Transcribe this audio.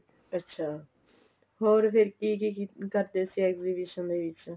ਅੱਛਾ ਹੋਰ ਫ਼ਿਰ ਕੀ ਕੀ ਕਰਦੇ ਸੀ exhibition ਦੇ ਵਿੱਚ